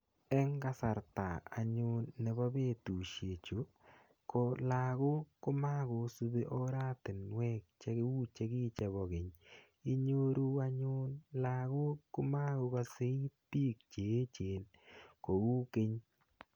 eng kasarta anyun nepo petushechu kolagok komakosupi oratinwek chekipokeny. inyoru lagok komakosaitik che echen kou keny.